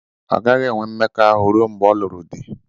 Ọ gaghị enwe mmekọahụ ruo mgbe ọ lụrụ di.